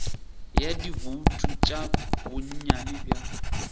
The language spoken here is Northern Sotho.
ya dibouto tša bonnyane bja